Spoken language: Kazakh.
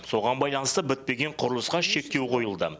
соған байланысты бітпеген құрылысқа шектеу қойылды